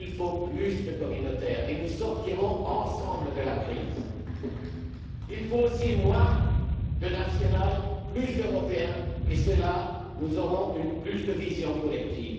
Il faut plus de communautaire et nous sortirons ensemble de la crise. Il faut aussi moins de national, plus d'européen, et nous aurons plus de vision collective.